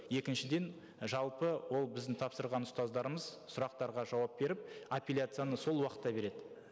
екіншіден жалпы ол біздің тапсырған ұстаздарымыз сұрақтарға жауап беріп апелляцияны сол уақытта береді